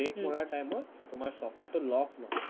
brake মৰাৰ time ত তোমাৰ চকাটো lock নহয়